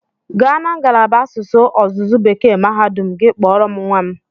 Gaa na ngalaba asụsụ ọzụzụ Bekee mahadum gị kpọrọ m nwa m!